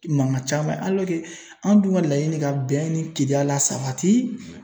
Mankan caman anw dun ka laɲini ka bɛn ni kelenya la sabati.